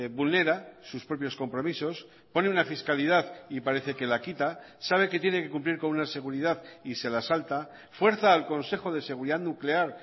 vulnera sus propios compromisos pone una fiscalidad y parece que la quita sabe que tiene que cumplir con una seguridad y se la salta fuerza al consejo de seguridad nuclear